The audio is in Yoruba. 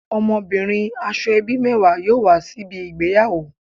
Omobirin Asoebi mewa yoo wa sibi igbeyawo